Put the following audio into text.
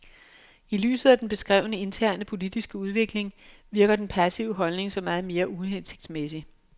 I lyset af den beskrevne interne politiske udvikling virker den passive holdning så meget mere uhensigsmæssig.